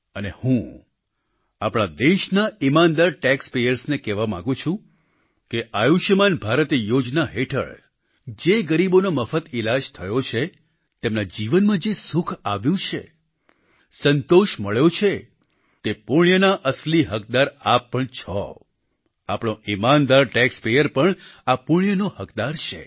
અને હું આપણા દેશના ઈમાનદાર ટેક્સ પેયર્સ ને કહેવા માગું છું કે આયુષ્યમાન ભારત યોજના હેઠળ જે ગરીબોનો મફત ઈલાજ થયો છે તેમના જીવનમાં જે સુખ આવ્યું છે સંતોષ મળ્યો છે તે પુણ્યના અસલી હકદાર આપ પણ છો આપણો ઈમાનદાર ટેક્સ પેયર પણ આ પુણ્યનો હકદાર છે